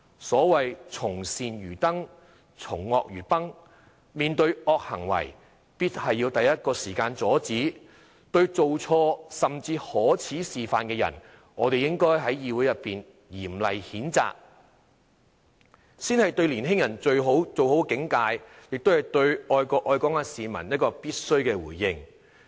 所謂"從善如登，從惡如崩"，面對惡行為必須第一時間阻止，對做錯、甚至作出可耻示範的人，我們應該在議會裏面嚴厲譴責，這才是對年輕人最好的警誡，亦是對愛國愛港市民一個必須的回應。